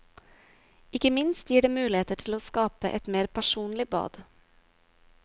Ikke minst gir det muligheter til å skape et mer personlig bad.